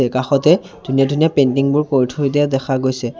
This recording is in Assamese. এ কাষতে ধুনীয়া ধুনীয়া পেইণ্টিং বোৰ কৰি থৈ দিয়া দেখা গৈছে।